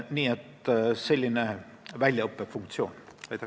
Nii et siin on tegu väljaõppefunktsiooniga.